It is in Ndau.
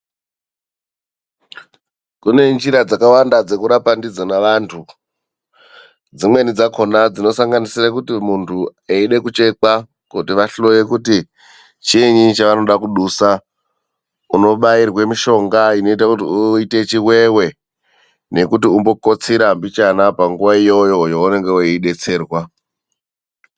Kune njira dzakawanda dzekurapa ndidzona vantu. Dzimweni dzakhona dzinosanganisira kuti muntu eide kuchekwa kuti vahloye kuti chiinyi chavanoda kudusa, unobairwe mishonga inoita kuti uite chiwewe nekuti umbokotsira mbichana panguva iyoyo yaunenge weidetserwa.